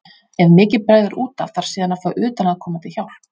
Ef mikið bregður út af þarf síðan að fá utanaðkomandi hjálp.